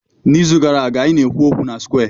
N'izu gara aga, anyị na-ekwu okwu na square.